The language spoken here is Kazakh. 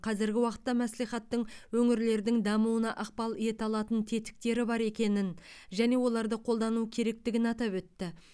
қазіргі уақытта мәслихаттың өңірлердің дамуына ықпал ете алатын тетіктері бар екенін және оларды қолдану керектігін атап өтті